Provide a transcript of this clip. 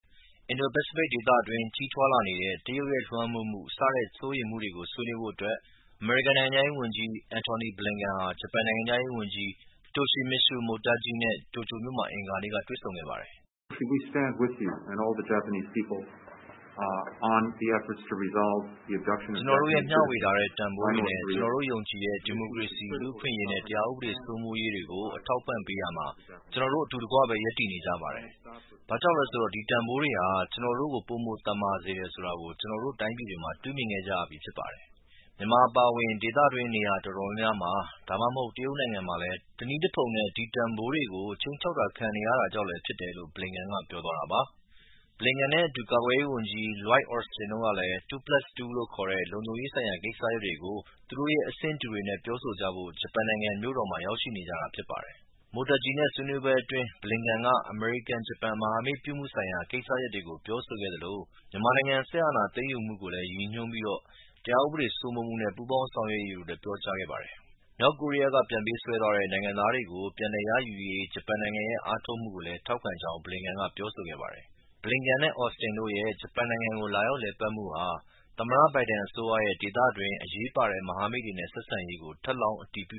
အင်ဒို-ပစိဖိတ်ဒေသတွင်း ကြီးထွားလာနေတဲ့ တရုတ်လွှမ်းမိုးမှု စတဲ့ စိုးရိမ်မှုတွေကို ဆွေးနွေးဖို့အမေရိကန်နိုင်ငံခြားရေးဝန်ကြီး Antony Blinken ဟာ ဂျပန်နိုင်ငံခြားရေးဝန်ကြီး Toshimitsu Motegi နဲ့ တိုကျိူမြို့မှာ အင်္ဂါနေ့က တွေ့ဆုံခဲ့ပါတယ်။ “ ကျနော်တို့ရဲ့ ဝေမျှထားတဲ့ တန်ဖိုးတွေနဲ့ ကျနော်တို့ယုံကြည်တဲ့ ဒီမိုကရေစီ၊ လူ့အခွင့်အရေးနဲ့တရားဥပဒေစိုးမိုးရေးတွေကို အထောက်အပံ့ပေးရာမှာ ကျနော်တို့အတူတကွပဲ ရပ်တည် နေကြပါတယ်။ ဘာ့ကြောင့်လဲဆိုတော့ ဒီတန်ဖိုးတွေဟာ ကျနော်တို့ကို ပိုမိုသန်မာစေတယ်ဆိုတာ ကျနော်တို့တိုင်းပြည်တွေမှာ မြင်တွေ့ခဲ့ကြရပြီးဖြစ်တယ်။ မြန်မာအပါအဝင် ဒေသတွင်းက နေရာတော်တော်များများမှာ ဒါမှမဟုတ် တရုတ်နိုင်ငံမှာလည်း တနည်းတဖုံနဲ့ဒီတန်ဖိုးတွေကို ခြိမ်းခြောက်ခံနေရတာကြောင့်လည်းဖြစ်တယ်။” Blinken နဲ့အတူ ကာကွယ်ရေးဝန်ကြီး Lloyd Austin တို့လည်း “two plus two" လို့ခေါ်တဲ့ လုံခြုံရေးဆိုင်ရာကိစ္စရပ်တွေကို သူတို့ရဲ့ အဆင့်တူတွေနဲ့ပြောဆိုကြဖို့ ဂျပန်နိုင်ငံရဲ့ မြို့တော်မှာ ရောက်ရှိနေကြတာဖြစ်ပါတယ်။ Motegi နဲ့ဆွေးနွေးပွဲအတွင်း Blinken က အမေရိကန်-ဂျပန် မဟာမိတ်ပြုမှုဆိုင်ရာ ကိစ္စရပ်တွေကို ပြောဆိုခဲ့သလို မြန်မာနိုင်ငံစစ်အာဏာသိမ်းယူမှုကိုရည်ညွှန်းပြီး တရားဥပဒေစိုးမိုးမှု နဲ့ပူးပေါင်း ဆောင်ရွက်ရေးတွေကိုလည်း ပြောကြားခဲ့ပါတယ်။ မြောက်ကိုရီးယားက ပြန်ပေးဆွဲသွားတဲ့ နိုင်ငံသားတွေကို ပြန်လည်ရယူရေး ဂျပန်နိုင်ငံရဲ့ အားထုတ်မှုကိုလည်း ထောက်ခံကြောင်းလည်း Blinken က ပြောဆိုခဲ့ပါတယ်။ Blinken နဲ့Austin တို့ရဲ့ ဂျပန်နိုင်ငံကို လာရောက်လည်ပတ်မှုဟာ သမ္မတ ဘိုင်ဒန်အစိုးရရဲ့ ဒေသတွင်း အရေးပါတဲ့ မဟာမိတ်တွေနဲ့ဆက်ဆံရေးကို ထပ်လောင်းအတည်ပြု